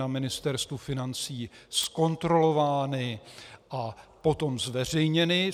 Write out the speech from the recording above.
na Ministerstvu financí zkontrolovány a potom zveřejněny.